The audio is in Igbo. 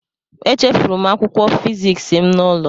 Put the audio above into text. Echefuru m akwụkwọ fịzịksi m n'ụlọ.